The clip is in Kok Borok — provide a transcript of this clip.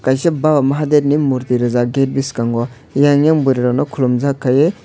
kaisa baba mahadev ni murti rijak gate bwskango yang yeng bwrwi rokno khulumjak khaiwui.